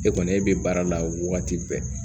E kɔni e bɛ baara la wagati bɛɛ